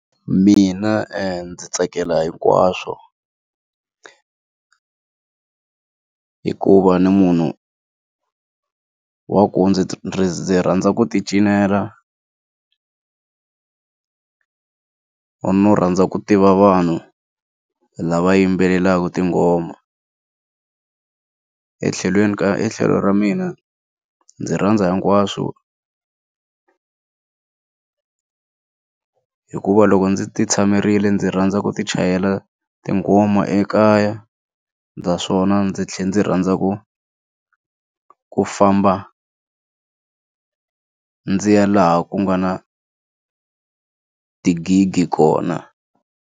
Mina ndzi tsakela hinkwaswo hikuva ni munhu wa ku ndzi ndzi rhandza ku ti cinela no rhandza ku tiva vanhu lava yimbelelaka tingoma etlhelweni ka ra mina ndzi rhandza hinkwaswo ku hikuva loko ndzi ti tshamerile ndzi rhandza ku ti chayela tinghoma ekaya naswona ndzi tlhela ndzi rhandza ku ku famba ndzi ya laha ku nga na tigigi kona.